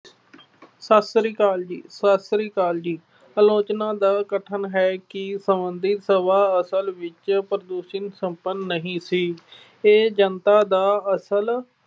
ਸਤਿ ਸ੍ਰੀ ਅਕਾਲ ਜੀ। ਸਤਿ ਸ੍ਰੀ ਅਕਾਲ ਜੀ। ਆਲੋਚਨਾ ਦਾ ਕਥਨ ਹੈ ਕਿ ਸੰਭਾਵਿਕ ਸਭਾ ਅਸਲ ਵਿੱਚ ਸਪੰਨ ਨਹੀਂ ਸੀ। ਇਹ ਜਨਤਾ ਦਾ ਅਸਲ